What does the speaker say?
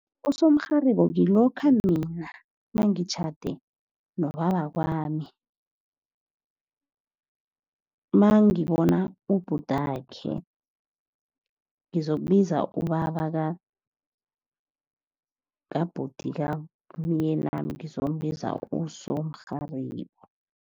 Usomrharibo kilokha mina nangitjhade nobabakwami, nangibona ubhutakhe, ngizokubiza ubaba kabhuti kamyenami ngizombiza usomrharibo.